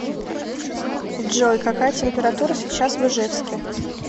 джой какая температура сейчас в ижевске